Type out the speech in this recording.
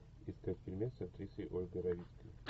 искать фильмец с актрисой ольгой равицкой